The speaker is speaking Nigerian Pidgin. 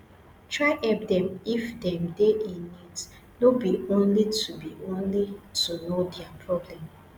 try help dem if them de in need no be only to be only to know their problems